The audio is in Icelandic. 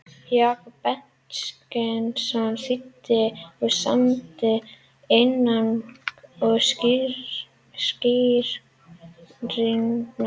Jakob Benediktsson þýddi og samdi inngang og skýringar.